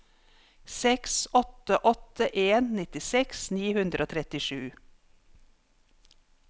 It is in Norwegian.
seks åtte åtte en nittiseks ni hundre og trettisju